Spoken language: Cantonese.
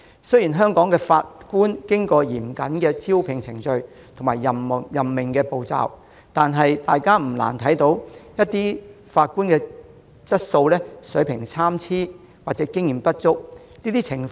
雖然香港的法官已通過嚴謹的招聘和任命程序，但大家不難看到，有些法官或許質素參差或經驗不足。